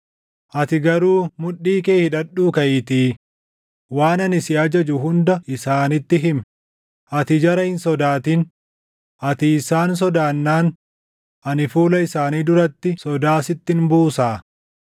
“Ati garuu mudhii kee hidhadhuu kaʼiitii waan ani si ajaju hunda isaanitti himi. Ati jara hin sodaatin; ati isaan sodaannaan ani fuula isaanii duratti sodaa sittin buusaa.